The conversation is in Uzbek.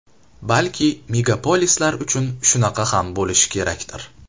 Balki megapolislar uchun shunaqa ham bo‘lishi kerakdir.